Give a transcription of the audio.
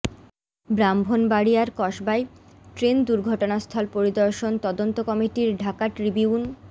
ব্রাহ্মণবাড়িয়ার কসবায় ট্রেন দুর্ঘটনাস্থল পরিদর্শন তদন্ত কমিটির ঢাকা ট্রিবিউন